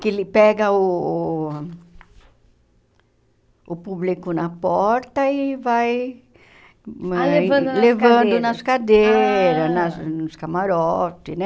Que ele pega uh o público na porta e vai ah levando nas cadeiras levando nas cadeiras, ah nas nos camarotes, né?